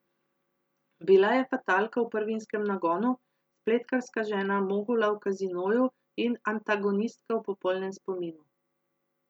Bila je fatalka v Prvinskem nagonu, spletkarska žena mogula v Kazinoju in antagonistka v Popolnem spominu.